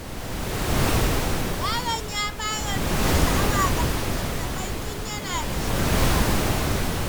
Yaron ya fara nuna sha’awa ga litattafai tun yana da shekara ɗaya.